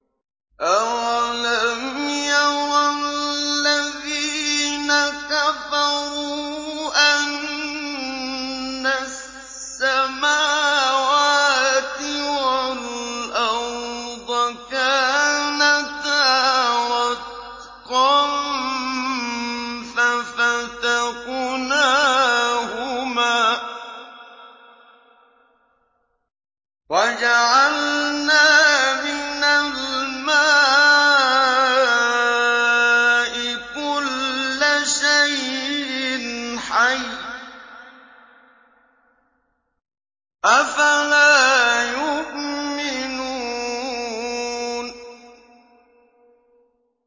أَوَلَمْ يَرَ الَّذِينَ كَفَرُوا أَنَّ السَّمَاوَاتِ وَالْأَرْضَ كَانَتَا رَتْقًا فَفَتَقْنَاهُمَا ۖ وَجَعَلْنَا مِنَ الْمَاءِ كُلَّ شَيْءٍ حَيٍّ ۖ أَفَلَا يُؤْمِنُونَ